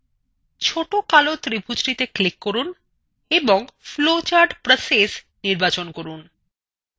ছোট কালো ত্রিভুজটিতে click করুন এবং flowchart: process নির্বাচন করুন